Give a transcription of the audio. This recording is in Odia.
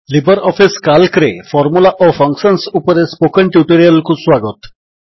ଲିବର୍ ଅଫିସ୍ କାଲ୍କରେ ଫର୍ମୁଲା ଓ ଫଙ୍କସନ୍ ଉପରେ ସ୍ପୋକନ୍ ଟ୍ୟୁଟୋରିଆଲ୍ କୁ ସ୍ୱାଗତ